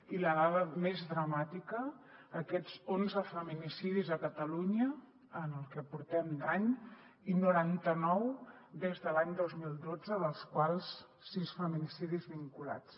i la dada més dramàtica aquests onze feminicidis a catalunya en el que portem d’any i noranta nou des de l’any dos mil dotze dels quals sis feminicidis vinculats